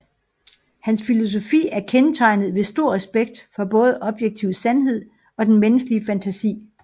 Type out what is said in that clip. Hans filosofi er kendetegnet ved stor respekt for både objektiv sandhed og den menneskelige fantasi